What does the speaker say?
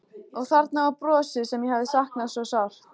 Og þarna var brosið sem ég hafði saknað svo sárt.